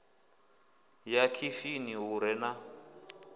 ya khishini hu re na